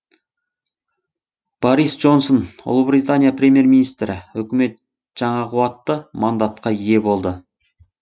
борис джонсон ұлыбритания премьер министрі үкімет жаңа қуатты мандатқа ие болды